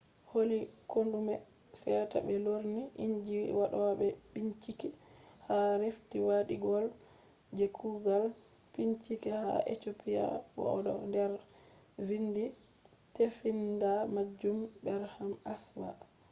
holli koɗume seta ɓe lorni inji waɗoɓe bincike ha rift waadiwol je kugal bincike ha ethiopia bo o do der be vindi tefinda majum berhane asfaw